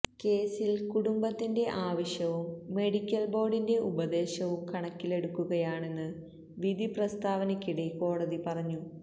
കേസില് കുടുംബത്തിന്റെ ആവശ്യവും മെഡിക്കല് ബോര്ഡിന്റെ ഉപദേശവും കണക്കിലെടുക്കുകയാണെന്ന് വിധി പ്രസ്താവനയ്ക്കിടെ കോടതി പറഞ്ഞു